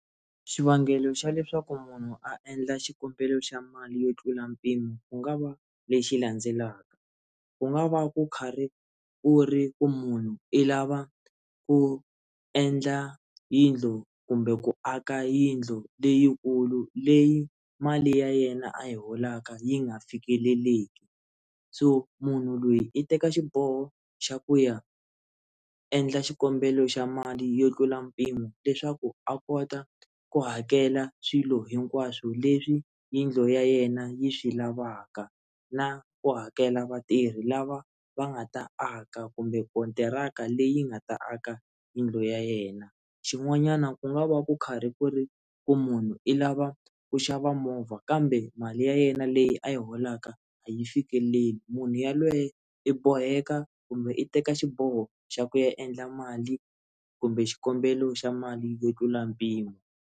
Xivangelo xa leswaku munhu a endla xikombelo xa mali yo tlula mpimo ku nga va lexi landzelaka ku nga va ku karhi ku ri ku munhu i lava ku endla yindlu kumbe ku aka yindlu leyikulu leyi mali ya yena a yi holaka yi nga fikeleleki so munhu lweyi i teka xiboho xa ku ya endla xikombelo xa mali yo tlula mpimo leswaku a kota ku hakela swilo hinkwaswo leswi yindlu ya yena yi swi lavaka na ku hakela vatirhi lava va nga ta aka kumbe kontiraka leyi nga ta aka yindlu ya yena xin'wanyana ku nga va ku karhi ku ri ku munhu i lava ku xava movha kambe mali ya yena leyi a yi holaka a yi fikeleli munhu yalweyo i boheka kumbe i teka xiboho xa ku ya endla mali kumbe xikombelo xa mali yo tlula mpimo.